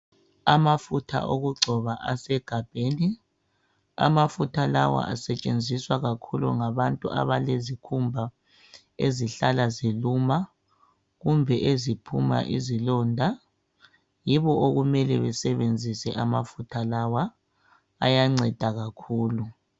Amafutha okugcoba asegabheni. Amafutha lawa asetshenziswa kakhulu ngabantu abalezikhumba ezihlala ziluma kumbe eziphuma izilonda. Yibo okumele besebenzise amafutha lawa, ayanceda kakhulu.